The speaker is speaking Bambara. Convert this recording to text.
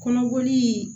Kɔnɔboli